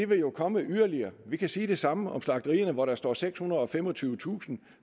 vil jo komme yderligere vi kan sige det samme om slagterierne der står sekshundrede og femogtyvetusind